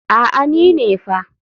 A'a ni ne fa.